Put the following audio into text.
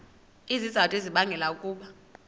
izizathu ezibangela ukuba